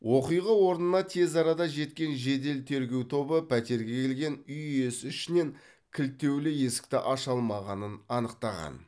оқиға орнына тез арада жеткен жедел тергеу тобы пәтерге келген үй иесі ішінен кілттеулі есікті аша алмағанын анықтаған